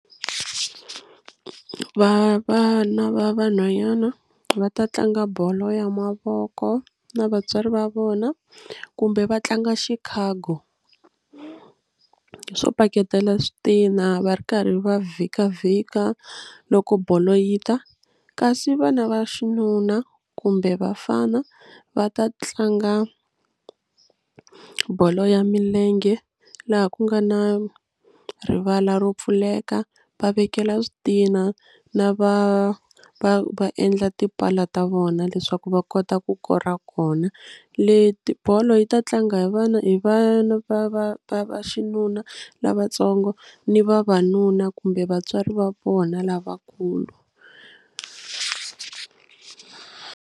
Va vana va vanhwanyana va ta tlanga bolo ya mavoko na vatswari va vona kumbe va tlanga xikhago swo paketela switina va ri karhi va vhikavhika loko bolo yi ta kasi vana va xinuna kumbe vafana va ta tlanga bolo ya milenge laha ku nga na rivala ro pfuleka va vekela switina na va va va endla tipala ta vona leswaku va kota ku kora kona kona leti bolo yi ta tlanga hi vana hi vana va va va va xinuna lavatsongo ni vavanuna kumbe vatswari va vona lavakulu.